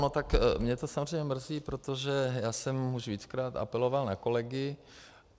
No tak mě to samozřejmě mrzí, protože já jsem už víckrát apeloval na kolegy.